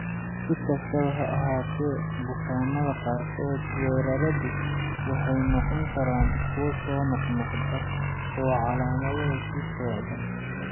Si kastaba ha ahaatee, bukaanada qaarkood, weeraradu waxay noqon karaan kuwo soo noqnoqda oo calaamaduhu sii socdaan.